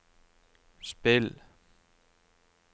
spill